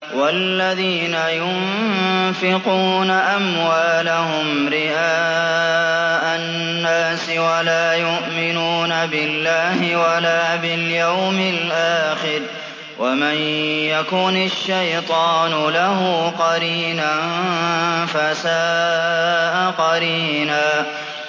وَالَّذِينَ يُنفِقُونَ أَمْوَالَهُمْ رِئَاءَ النَّاسِ وَلَا يُؤْمِنُونَ بِاللَّهِ وَلَا بِالْيَوْمِ الْآخِرِ ۗ وَمَن يَكُنِ الشَّيْطَانُ لَهُ قَرِينًا فَسَاءَ قَرِينًا